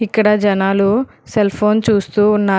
ఇక్కడ జనాలు cell phone చూస్తూ ఉన్నారు.